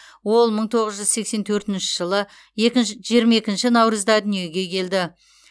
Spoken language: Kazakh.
ол мың тоғыз жүз сексен төртінші жылы жиырма екінші наурызда дүниеге келді